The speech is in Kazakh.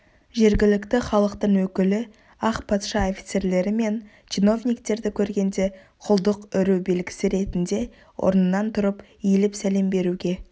жергілікті халықтың өкілі ақ патша офицерлері мен чиновниктерді көргенде құлдық үру белгісі ретінде орнынан тұрып иіліп сәлем беруге